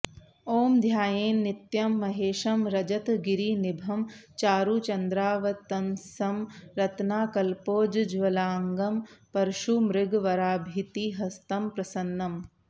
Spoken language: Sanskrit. ॐ ध्यायेन्नित्यं महेशं रजतगिरिनिभं चारुचन्द्रावतंसं रत्नाकल्पोज्ज्वलांगं परशुमृगवराभितिहस्तं प्रसन्नम्